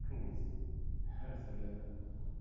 кім кездеседі әртүрлі адам